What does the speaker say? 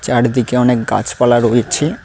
চারিদিকে অনেক গাছপালা রয়েছে।